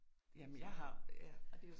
Jamen jeg har ja